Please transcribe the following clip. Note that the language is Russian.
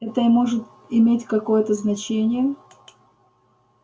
это может иметь какое-то значение